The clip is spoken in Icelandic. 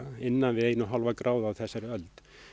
innan við eina komma fimm gráður á þessari öld